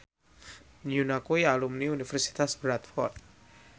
Yoona kuwi alumni Universitas Bradford